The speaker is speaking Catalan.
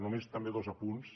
només també dos apunts